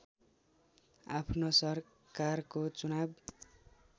आफ्नो सरकारको चुनाव